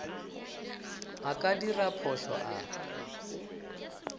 a ka dira phošo a